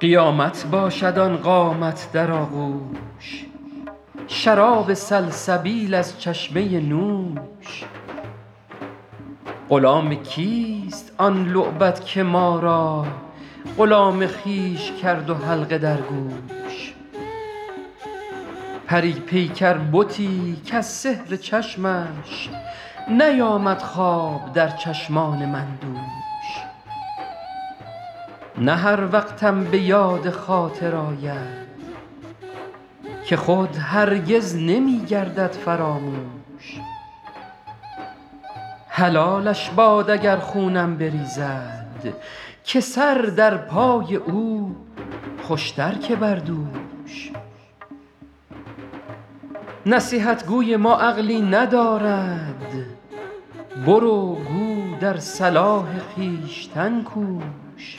قیامت باشد آن قامت در آغوش شراب سلسبیل از چشمه نوش غلام کیست آن لعبت که ما را غلام خویش کرد و حلقه در گوش پری پیکر بتی کز سحر چشمش نیامد خواب در چشمان من دوش نه هر وقتم به یاد خاطر آید که خود هرگز نمی گردد فراموش حلالش باد اگر خونم بریزد که سر در پای او خوش تر که بر دوش نصیحت گوی ما عقلی ندارد برو گو در صلاح خویشتن کوش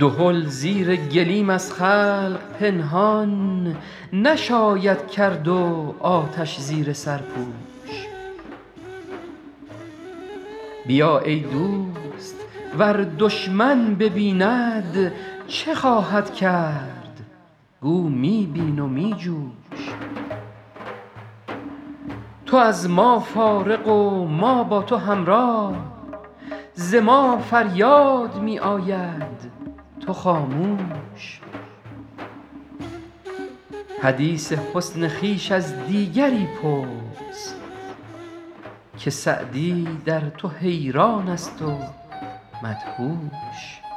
دهل زیر گلیم از خلق پنهان نشاید کرد و آتش زیر سرپوش بیا ای دوست ور دشمن ببیند چه خواهد کرد گو می بین و می جوش تو از ما فارغ و ما با تو همراه ز ما فریاد می آید تو خاموش حدیث حسن خویش از دیگری پرس که سعدی در تو حیران است و مدهوش